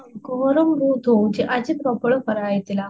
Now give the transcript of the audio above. ହଁ ଗରମ ବହୁତ ହୋଉଛି ଆଜି ପ୍ରବଳ ଖରା ହେଇଥିଲା